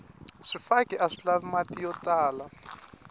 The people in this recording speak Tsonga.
swifaki aswi lavi mati yo tala